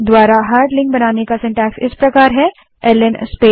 001252 001156 hard link बनाने के लिए ल्न कमांड का रचनाक्रम सिन्टैक्स इस प्रकार है